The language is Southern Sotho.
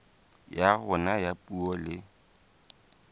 ya rona ya puo le